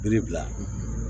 Biri bila